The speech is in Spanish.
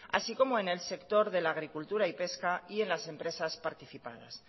así como en el sector de la agricultura y pesca y en las empresas participadas